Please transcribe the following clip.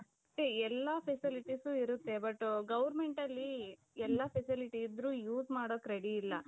ಅಂದ್ರೆ ಎಲ್ಲಾ facilities ಇರುತ್ತೆ but governmentಅಲ್ಲಿ ಎಲ್ಲಾ facility ಇದ್ರೂ use ಮಾಡೋಕ್ ready ಇಲ್ಲ.